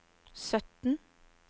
sytten